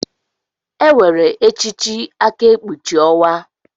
Enwere echichi aka ekpuchi onwa.